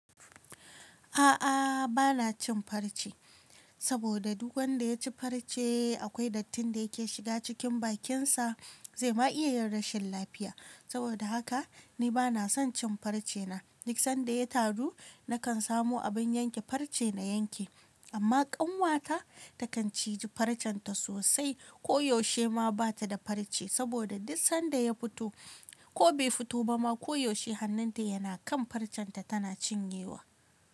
A'a, bana cin farce saboda duk wanda ya ci farce akwai dattin da yake shiga cikin bakinsa, zai ma iyayen rashin lafiya. Saboda haka ni bana son cin farce na. Duk sanda ya taru, nakan samu abin yanke farce na yanke. Amma ƙanwata takan ciji farcenta sosai. Koyaushe ma bata da farce saboda duk sanda ya fito ko bai fito ba ma, koyaushe hannunta yana kan farcenta tana cin yewa.